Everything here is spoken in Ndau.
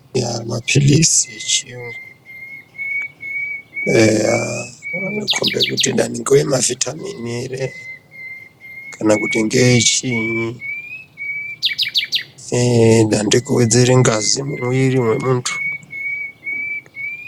Yaa mapilizi echiyungu eya anokombe kuti dani ngeemavhitamini ere kana kuti ngeechiinyi eee da ndeekuwedzere ngazi mumwiri wemuntu.